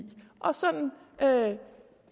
og sådan